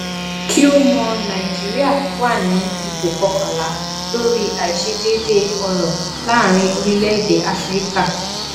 kí o mọ nàìjíríà wà ní ipò kọkànlá lórí àìsedéédéé ọrọ láàárín orílẹ èdè áfíríkà